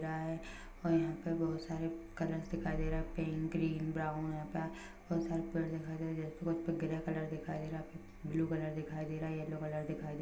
और यहां पे बहुत सारे कलर्स दिखाई दे रहै है पिंक ग्रीन ब्राउन यहाँ पे बहुत सरे पड़े दिखाय दे रहै है ऊपर ग्रे कलर दिखाई दे रहा है ब्लू कलर दिखाई दे रहा है यल्लो कलर दिखाई दे रहा है।